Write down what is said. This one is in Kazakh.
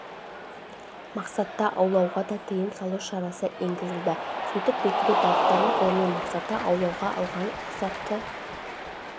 мақсатта аулауға да тыйым салу шарасы енгізілді сөйтіп бекіре балықтарын ғылыми мақсатта аулауға алған рұқсатты